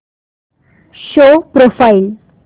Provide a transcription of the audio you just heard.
show profile